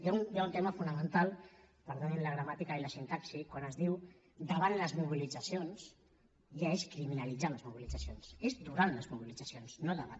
hi ha un tema fonamental perdonin la gramàtica i la sintaxi quan es diu davant les mobilitzacions ja és criminalitzar les mobilitzacions és durant les mobilitzacions no davant